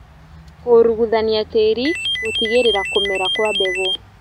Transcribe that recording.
Kũruguthania tĩri gũtigĩrĩra kũmera kwa mbegũ